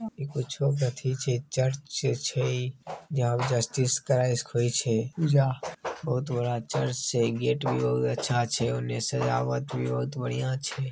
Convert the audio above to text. चर्च छई| यहाँ जस्टिसट क्राइस्ट होइ छे | बहुत बड़ा चर्च छे| गेट भी बहुत अच्छा छे| ओने से आवत भी बहुत बढ़िया छे।